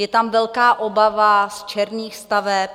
Je tam velká obava z černých staveb.